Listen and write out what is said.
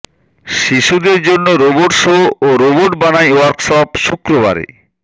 শিশুদের জন্য robot show ও রোবট বানাই ওয়ার্কশপ শুক্রবারে